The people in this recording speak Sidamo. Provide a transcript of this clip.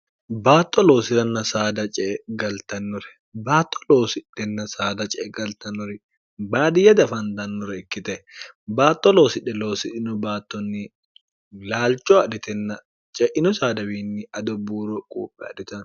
baatto loosi'ranna saada ce e galtannore baatto loosidhenna saada ce e galtanori baadiyya dafandannore ikkite baatto loosidhe loosidhino baattonni laalcho adhitenna ce'ino saadawiinni adobbuuro quuphe adhitenno